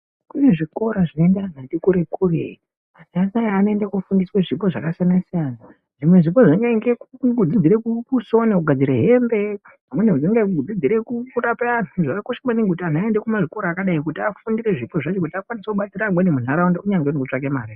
Kune zvikora zvinoenda antu vati kure kure . Tarisai anoenda kunofundiswa zvipo zvakasiyana siyana . Zvimwe zvipo zvinenge kungodzidzira kusona kugadzira hembe amweni anodzidzire kurapa antu . Zvakakosha maningi kuti antu aende kumazvikora akadai kuti afundire zvipo zvacho kuti akwanise kubatsira amweni muntaraunda.